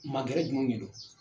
Ma gɛrɛ jumɛnw de don